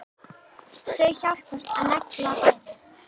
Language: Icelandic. Þau hjálpast að og negla bæði.